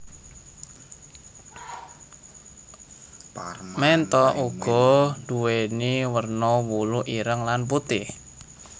Ménthok uga nduwèni werna wulu ireng lan putih